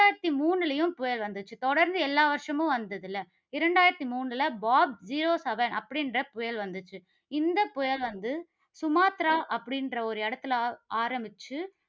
இரண்டாயிரத்து மூணுலயும் புயல் வந்துச்சு. தொடர்ந்து எல்லா வருஷமும் வந்ததுல, இரண்டாயிரத்து மூணுல பாப் zero seven அப்படிங்கிற புயல் வந்துச்சு. இந்தப் புயல் வந்து, சுமத்ரா அப்படி என்ற ஒரு இடத்தில ஆரம்பிச்சு